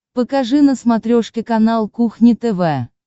покажи на смотрешке канал кухня тв